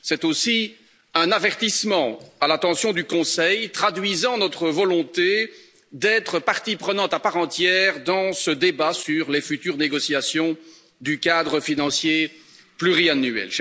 C'est aussi un avertissement à l'intention du Conseil traduisant notre volonté d'être partie prenante à part entière dans ce débat sur les futures négociations du cadre financier pluriannuel.